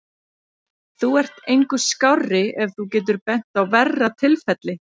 Þú ert engu skárri ef þú getur bent á verra tilfelli.